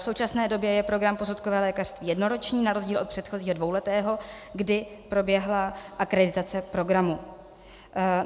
V současné době je program posudkového lékařství jednoroční na rozdíl od předchozího dvouletého, kdy proběhla akreditace programu.